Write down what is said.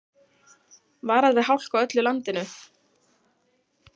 Varað við hálku á öllu landinu